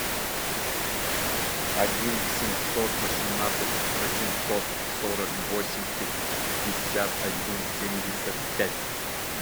один семьсот восемнадцать восемьсот сорок восемь пятьдесят один семьдесят пять